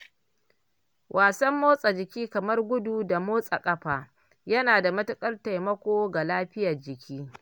Wasan motsa jiki kamar gudu da motsa ƙafa yana da matukar taimako ga lafiyar jiki.